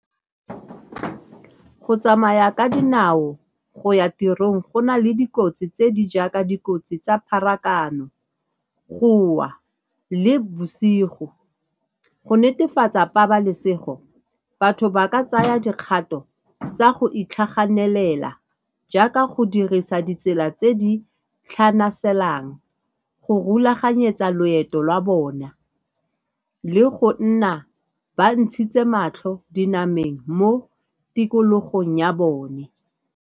Go tsamaya ka dinao go ya tirong go na le dikotsi tse di jaaka dikotsi tsa pharakano, go wa le bosigo. Go netefatsa pabalesego batho ba ka tsaya dikgato tsa go itlhaganelela jaaka go dirisa ditsela tse di tlhanaselang, go rulaganyetsa loeto lwa bona le go nna ba ntshitse matlho dinameng mo tikologong ya bone.